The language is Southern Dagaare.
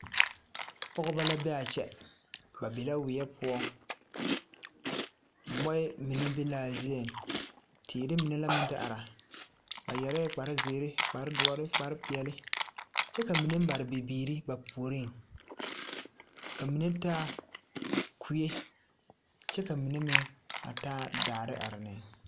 Pɔgeba la be a kyɛ ba be la weɛ poɔ mɔɛ mine be la a zieŋ teere mine la meŋ te are ba yɛrɛɛ kparezeere kparedoɔre kparepeɛle kyɛ ka mine mare bibiiri ba puoriŋ ka mine taa kue kyɛ ka mine meŋ a taa daare are neŋ.